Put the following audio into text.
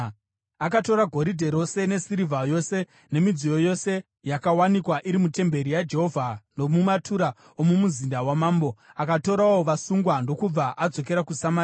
Akatora goridhe rose nesirivha yose nemidziyo yose yakawanikwa iri mutemberi yaJehovha nomumatura omumuzinda wamambo. Akatorawo vasungwa ndokubva adzokera kuSamaria.